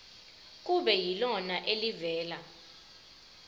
kube yilona elivela